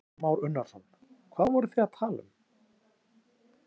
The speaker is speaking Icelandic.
Kristján Már Unnarsson: Hvað voru þið að tala um?